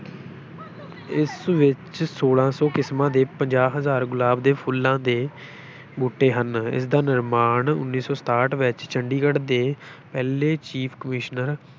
ਇਸ ਵਿੱਚ ਛੋਲਾਂ ਸੌ ਕਿਸਮਾਂ ਦੇ ਪੰਜਾਹ ਹਜ਼ਾਰ ਗੁਲਾਬ ਦੇ ਫੁੱਲਾਂ ਦੇ ਬੂਟੇ ਹਨ, ਇਸ ਦਾ ਨਿਰਮਾਣ ਉੱਨੀ ਸੌ ਸਤਾਹਠ ਵਿੱਚ ਚੰਡੀਗੜ ਦੇ ਪਹਿਲੇ chief commissioner